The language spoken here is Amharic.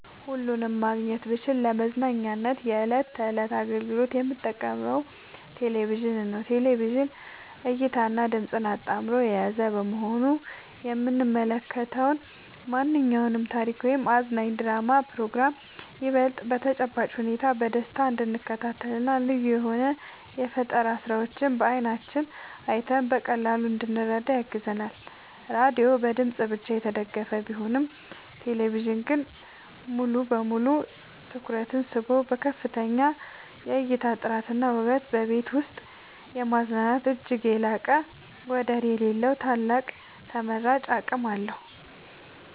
ሁለቱንም ማግኘት ብችል ለመዝናኛ የዕለት ተዕለት አገልግሎት የምመርጠው ቴሌቪዥንን ነው። ቴሌቪዥን እይታንና ድምጽን አጣምሮ የያዘ በመሆኑ የምንመለከተውን ማንኛውንም ታሪክ ወይም አዝናኝ ድራማና ፕሮግራም ይበልጥ በተጨባጭ ሁኔታ በደስታ እንድንከታተልና ልዩ የሆኑ የፈጠራ ስራዎችን በዓይናችን አይተን በቀላሉ እንድንረዳ ያግዘናል። ራዲዮ በድምጽ ብቻ የተገደበ ቢሆንም ቴሌቪዥን ግን ሙሉ በሙሉ ትኩረትን ስቦ በከፍተኛ የእይታ ጥራትና ውበት በቤት ውስጥ የማዝናናት እጅግ የላቀና ወደር የሌለው ታላቅ ተመራጭ አቅም አለው።